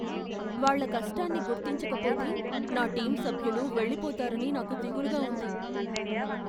వాళ్ళ కష్టాన్ని గుర్తించకపోతే నా టీమ్ సభ్యులు వెళ్లిపోతారని నాకు దిగులుగా ఉంది.